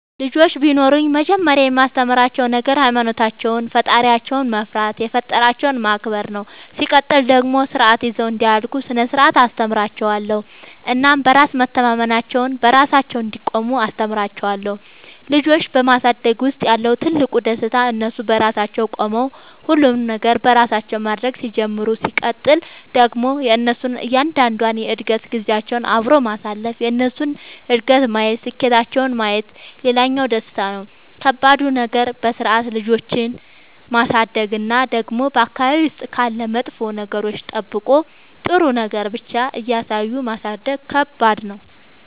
ልጆች ቢኖሩኝ መጀመሪያ የማስተምራቸዉ ነገር ሃይማኖታቸውን ፈጣሪያቸውን መፍራት የፈጠራቸውን ማክበር ነው ሲቀጥል ደግሞ ስርዓት ይዘው እንዲያድጉ ስነ ስርዓት አስተምራችኋለሁ እናም በራስ መተማመናቸውን, በራሳቸው እንዲቆሙ አስተምራቸዋለሁ። ልጆች በማሳደግ ውስጥ ያለው ትልቁ ደስታ እነሱ በራሳቸው ቆመው ሁሉንም ነገር በራሳቸው ማድረግ ሲጀምሩ ሲቀጥል ደግሞ የእነሱን እያንዳንዷን የእድገት ጊዜያቸውን አብሮ ማሳለፍ የእነሱን እድገት ማየት ስኬታቸውን ማየት ሌላኛው ደስታ ነው። ከባዱ ነገር በስርዓት ልጆችን ማሳደግ እና ደግሞ በአካባቢ ውስጥ ካሉ መጥፎ ነገሮች ጠብቆ ጥሩ ነገር ብቻ እያሳዩ ማሳደግ ከባድ ነው።